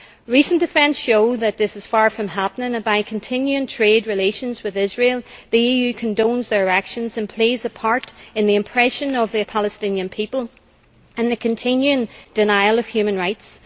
Recent events show that this is far from happening and, by continuing trade relations with Israel, the EU condones their actions and plays a part in the oppression of the Palestinian people and the continuing denial of human rights.